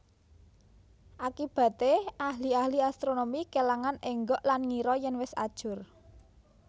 Akibaté ahli ahli astronomi kèlangan énggok lan ngira yèn wis ajur